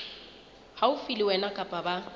haufi le wena kapa ba